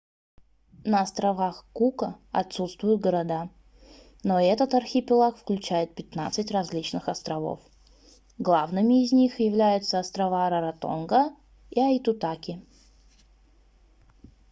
на островах кука отсутствуют города но этот архипелаг включает 15 различных островов главными из них являются острова раротонга и аитутаки